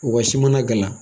Wa si mana gana